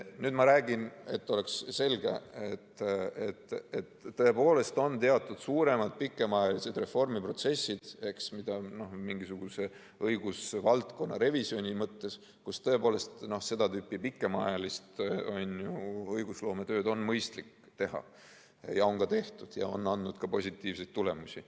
Nüüd ma räägin, et oleks selge, et tõepoolest on teatud suuremad pikemaajalised reformiprotsessid, mida on vaja mingisuguse õigusvaldkonna revisjoni mõttes, kus tõepoolest seda tüüpi pikemaajalist õigusloometööd on mõistlik teha ja on ka tehtud ja see on andnud positiivseid tulemusi.